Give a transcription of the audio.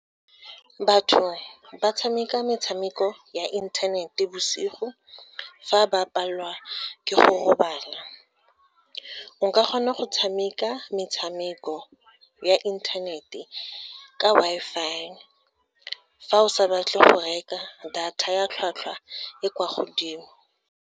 Batho ba tshameka metshameko ya inthanete bosigo, fa ba palelwa ke go robala. Nka kgona go tshameka metshameko ya inthanete ka Wi-Fi, fa o sa batle go reka data ya tlhwatlhwa e kwa godimo.